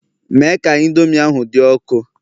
Mee ka Indomi ahụ dị ọkụ